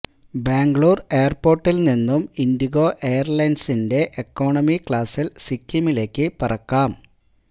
ബാംഗ്ലൂർ എയർപോർട്ടിൽ നിന്നും ഇൻഡിഗോ എയർലൈൻസിന്റെ എക്കണോമി ക്ലാസ്സിൽ സിക്കിമിലേക്ക് പറക്കാം